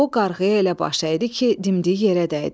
O qarğıya elə baş əydi ki, dimdiyi yerə dəydi.